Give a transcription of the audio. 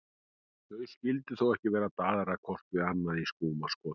Þau skyldu þó ekki vera að daðra hvort við annað í skúmaskoti?